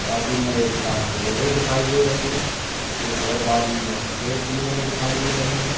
बाजू में एक लाल बोलेरो दिखाई दे रही है। एक और बाजू में सफेद बोलेरो दिखाई दे रही है।